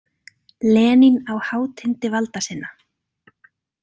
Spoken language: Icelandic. Lenín á hátindi valda sinna.